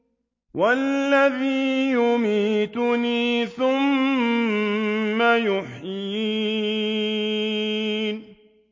وَالَّذِي يُمِيتُنِي ثُمَّ يُحْيِينِ